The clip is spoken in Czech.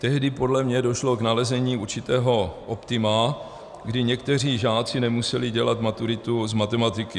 Tehdy podle mě došlo k nalezení určitého optima, kdy někteří žáci nemuseli dělat maturitu z matematiky.